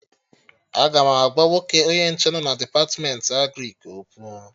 Aga m agwa nwoke onye nche nọ na Depatmentị Agrịk okwu